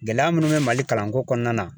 Gɛlɛya munnu be Mali kalan ko kɔnɔna na